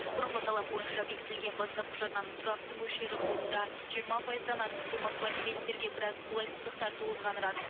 бұрынғы талап бойынша бекітіліген бастапқы жарнаның тұрақты мөлшері қолында жиырма пайыздан артық сомасы бар клиенттерге біраз қолайсыздықтар туғызғаны рас